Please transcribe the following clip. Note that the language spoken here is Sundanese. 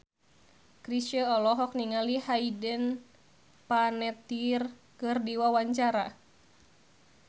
Chrisye olohok ningali Hayden Panettiere keur diwawancara